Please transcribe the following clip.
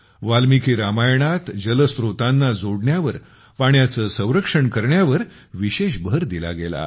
वाल्मिकी रामायणात जल स्रोतांना जोडण्यावर पाण्याचे संरक्षण करण्यावर विशेष भर दिला गेला आहे